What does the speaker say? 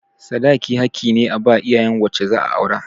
Sadaki haƙƙi ne a ba iyayen wacce za a aura.